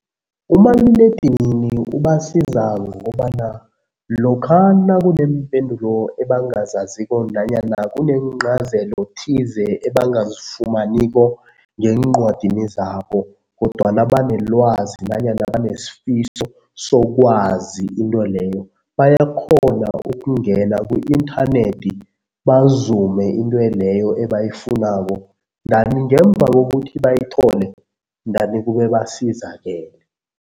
Umaliledinini ubasiza ngokobana lokha nakuneempendulo ebangazaziko nanyana kuneencazelo thize ebangazifumaniko ngeencwadini zabo kodwana banelwazi nanyana banesifiso sokwazi into leyo bayakghona ukungena ku-inthanethi bazume into leyo ebayifunako ndani ngemva kokuthi bayithole ndani kube basizakele.